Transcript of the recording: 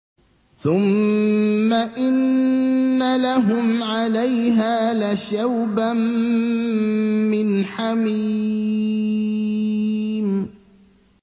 ثُمَّ إِنَّ لَهُمْ عَلَيْهَا لَشَوْبًا مِّنْ حَمِيمٍ